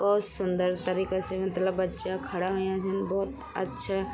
भोत सुन्दर तरीका से मतलब बच्चा खड़ा हुयां छिन भोत अच्छा --